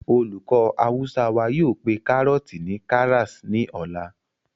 olùkọ́ awúsá wa yóò pé kárọ̀ọ̀tì ni karas ní ọ̀la